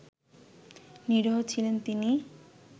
নিরীহ ছিলেন তিনি